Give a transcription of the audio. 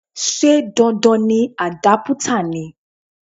Ṣé dandan ni àdápútà ni?